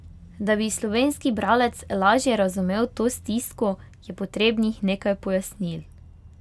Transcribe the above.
Da bi slovenski bralec lažje razumel to stisko, je potrebnih nekaj pojasnil.